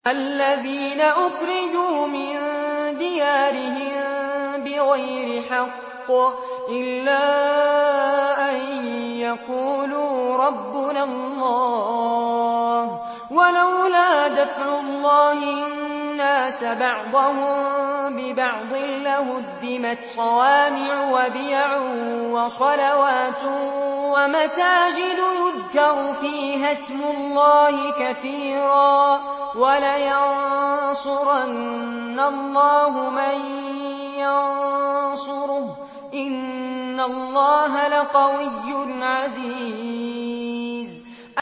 الَّذِينَ أُخْرِجُوا مِن دِيَارِهِم بِغَيْرِ حَقٍّ إِلَّا أَن يَقُولُوا رَبُّنَا اللَّهُ ۗ وَلَوْلَا دَفْعُ اللَّهِ النَّاسَ بَعْضَهُم بِبَعْضٍ لَّهُدِّمَتْ صَوَامِعُ وَبِيَعٌ وَصَلَوَاتٌ وَمَسَاجِدُ يُذْكَرُ فِيهَا اسْمُ اللَّهِ كَثِيرًا ۗ وَلَيَنصُرَنَّ اللَّهُ مَن يَنصُرُهُ ۗ إِنَّ اللَّهَ لَقَوِيٌّ عَزِيزٌ